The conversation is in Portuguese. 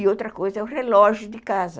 E outra coisa é o relógio de casa.